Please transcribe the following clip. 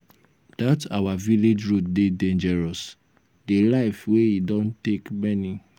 dat our village road dey dangerous. the life wey e don take many.